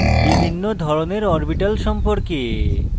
বিভিন্ন ধরনের orbitals সম্পর্কে